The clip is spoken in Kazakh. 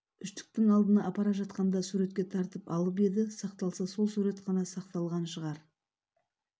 үштіктің алдына апара жатқанда суретке тартып алып еді сақталса сол сурет қана сақталған шығар